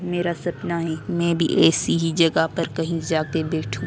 मेरा सपना है मैं भी ऐसी ही जगह पर कहीं जाके बैठूं।